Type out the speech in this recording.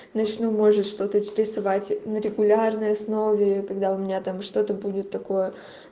начну может что-то тебе вставать на регулярной основе когда у меня там что-то будет такое